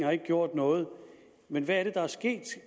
har gjort noget men hvad er det der er sket